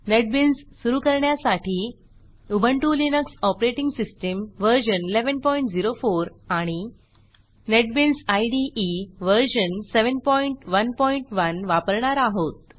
NetBeans सुरू करण्यासाठी Ubuntu Linux operating system version 1104 आणि नेटबीन्स इदे वर्जन 711 वापरणार आहोत